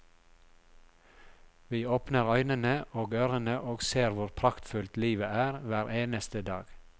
Vi åpner øynene og ørene og ser hvor praktfullt livet er hver eneste dag.